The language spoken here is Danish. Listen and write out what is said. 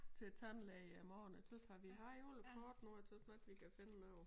Til tandlæge i morgen jeg tøs har vi har alle kort nu jeg tøs nok vi kan finde noget